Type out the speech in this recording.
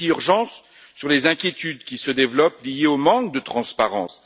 Il y a aussi urgence sur les inquiétudes qui se développent en raison du manque de transparence.